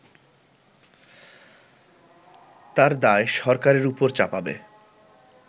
তার দায় সরকারের উপর চাপাবে